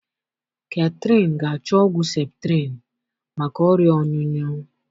Kathyrn ga achọ ọgwụ septrin maka ọrịa ọnyụnyu